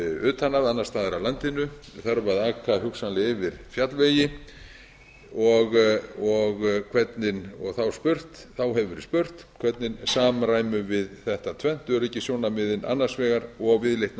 utan að annars staðar af landinu þarf að aka hugsanlega yfir fjallvegi og þá hefur verið spurt hvernig samræmum við þetta tvennt öryggissjónarmiðin annars vegar og viðleitni